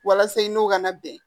Walasa i n'o ka na bɛn